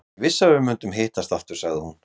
Ég vissi að við myndum hittast aftur, sagði hún.